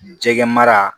Jɛgɛ mara